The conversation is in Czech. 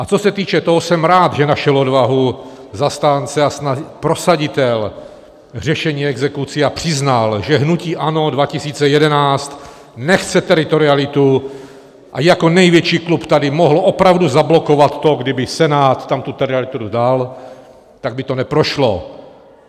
A co se týče toho, jsem rád, že našel odvahu zastánce a prosaditel řešení exekucí a přiznal, že hnutí ANO 2011 nechce teritorialitu, a jako největší klub tady mohl opravdu zablokovat to, kdyby Senát tam tu teritorialitu dal - tak by to neprošlo.